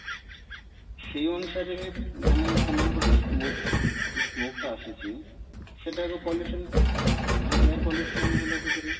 ସେଇ ଅନୁସାରେ ମାନେ ସେମାନଙ୍କର ଯୋଉ smoke ଯୋଉ smoke ଟା ଆସୁଛି ମାନେ air pollution ହେଲା ସେଥିରେ